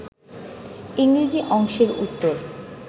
ইংরেজি অংশের উত্তর